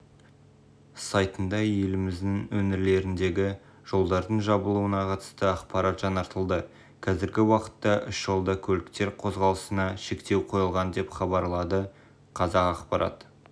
сайтында еліміздің өңірлеріндегі жолдардың жабылуына қатысты ақпарат жаңартылды қазіргі уақытта үш жолда көліктер қозғалысына шектеу қойылған деп хабарлады қазақпарат